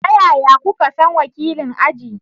Ta yaya kuka san wakilin aji?